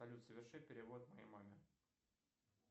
салют соверши перевод моей маме